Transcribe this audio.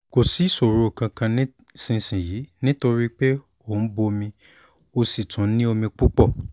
kò sí ìṣòro kankan nísinsìnyí nítorí pé ó ń bomi ó sì tún ní omi púpọ̀